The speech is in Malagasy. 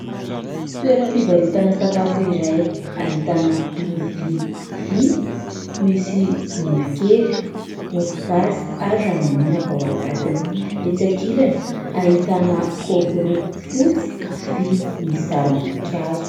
Toeram-pivarotana sakafo izay ahitana lovia vy, misy menakely, mofogasy, ary ramanonaka ao anatiny. Etsy ankilany ahitana kaopy roa fotsy, vy, misy sarim-boninkazo.